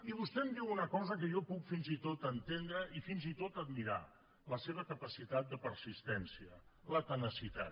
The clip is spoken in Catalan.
i vostè em diu una cosa que jo puc fins i tot entendre i fins i tot admirar la seva capacitat de persistència la tenacitat